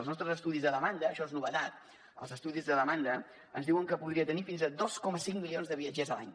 els nostres estudis a demanda això és novetat els estudis de demanda ens diuen que podria tenir fins a dos coma cinc milions de viatgers a l’any